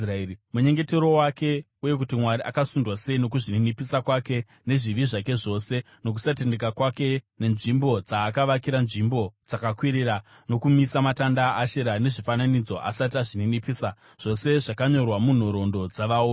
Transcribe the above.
Munyengetero wake uye kuti Mwari akasundwa sei nokuzvininipisa kwake, nezvivi zvake zvose nokusatendeka kwake, nenzvimbo dzaakavakira nzvimbo dzakakwirira nokumisa matanda aAshera nezvifananidzo asati azvininipisa, zvose zvakanyorwa munhoroondo dzavaoni.